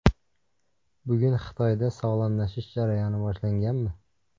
Bugun Xitoyda sog‘lomlashish jarayoni boshlanganmi?